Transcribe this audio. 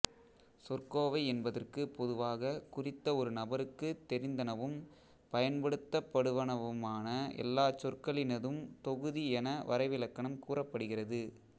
சொற்கோவை என்பதற்குப் பொதுவாக குறித்த ஒரு நபருக்குத் தெரிந்தனவும் பயன்படுத்தப்படுவனவுமான எல்லாச் சொற்களினதும் தொகுதி என வரைவிலக்கணம் கூறப்படுகிறது